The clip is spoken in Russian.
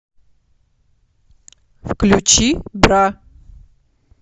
включи бра